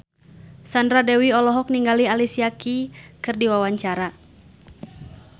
Sandra Dewi olohok ningali Alicia Keys keur diwawancara